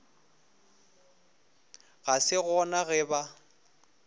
ga se gona ge ba